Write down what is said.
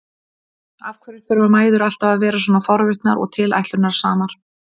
Af hverju þurfa mæður alltaf að vera svona forvitnar og tilætlunarsamar?